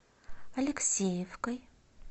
алексеевкой